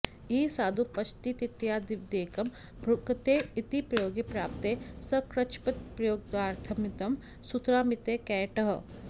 इह साधु पचतीत्यादिवदेकं भुङ्क्ते इति प्रयोगे प्राप्ते सकृच्छब्दप्रयोगार्थमिदं सूत्रमिति कैयटः